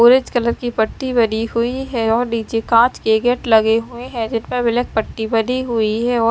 orange colour की पट्टी बनी हुई है और नीचे काच के गेट लगे हुए हैं जिनमें ब्लैक पट्टी बनी हुई है और--